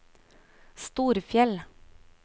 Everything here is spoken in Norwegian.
Storfjell